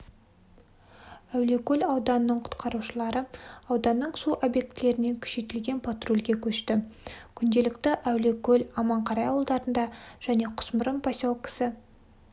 әулиекөл ауданының құтқарушылары ауданның су объектілеріне күшейтілген патрульге көшті күнделікті әулиекөл аманқарағай ауылдарында және құсмұрын поселкісі